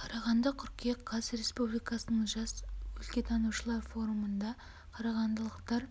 қарағанды қыркүйек қаз республикалық жас өлкетанушылар форумында қарағандылықтар